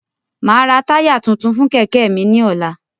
Máa ra táyà tuntun fún Kẹ̀kẹ́ mi ni ọ̀la